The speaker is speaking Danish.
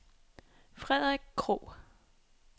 Frederik Krogh